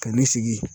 Ka ne sigi